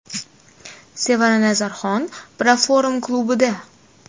Sevara Nazarxon Proform klubida.